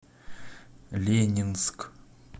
ленинск